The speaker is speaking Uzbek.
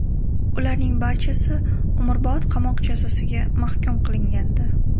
Ularning barchasi umrbod qamoq jazosiga mahkum qilingandi.